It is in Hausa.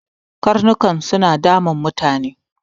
Karnukan suna damun mutane.